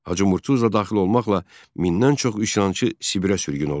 Hacı Murtuz da daxil olmaqla mindən çox üsyançı Sibirə sürgün olundu.